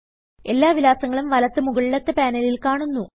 എല്ലാ വിലാസങ്ങളും വലത്ത് മുകളിലത്തെ പാനലിൽ കാണുന്നു